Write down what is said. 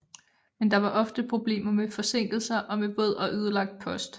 Men der var ofte problemer med forsinkelser og med våd og ødelagt post